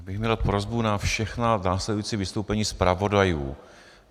Já bych měl prosbu na všechna následující vystoupení zpravodajů.